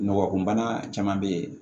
Nɔgɔ kun bana caman be yen